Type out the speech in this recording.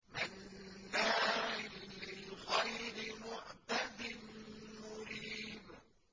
مَّنَّاعٍ لِّلْخَيْرِ مُعْتَدٍ مُّرِيبٍ